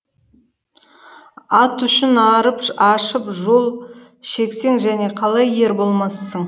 ат үшін арып ашып жол шексең және қалай ер болмассың